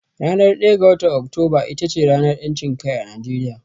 Ranar ɗaya ga watar Oktoba ita ce ranar ƴancin kai a Najeriya.